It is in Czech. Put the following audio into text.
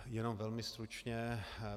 Jenom velmi stručně.